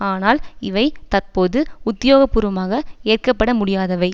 ஆனால் இவை தற்போது உத்தியோக பூர்வமாக ஏற்கப்பட முடியாதவை